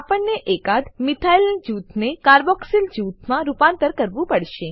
આપણને એકાદ મિથાઇલ જૂથને કાર્બોક્સિલ જૂથમાં રૂપાંતરિત કરવું પડશે